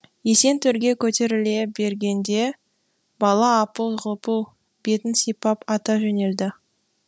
есен төрге көтеріле бергенде бала апыл ғұпыл бетін сипап ата жөнелді